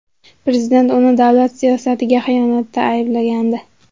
Prezident uni davlat siyosatiga xiyonatda ayblagandi.